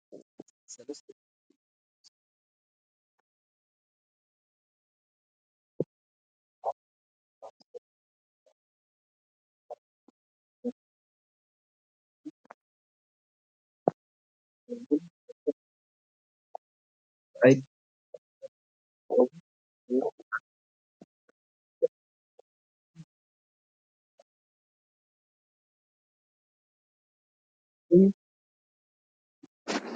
ሰለስተ ኢትዮጵያውያን ሰባት ባህላዊ ክዳን ተኸዲኖም ይረኣዩ። እታ ኣብ ማእከል ዘላ ሰበይቲ ጽብቕቲ ጻዕዳ ክዳንተኸዲና፡ጸጉራ ቁልቁል ዝኣፉ ክኸውን ከሎ፡እቲ ሰብኣይ ድማ ጻዕዳ ቆቢዕ ገይሩ ኣሎ። መልክዕ ህዝቢ እምነቱን ባህሉን ዘንጸባርቕ እዩ። እቲ ስሚዒት ናይ ትውፊትን ትምክሕትን እዩ።